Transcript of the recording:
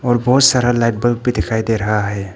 और बहुत सारा लाइट बल्ब भी दिखाई दे रहा है।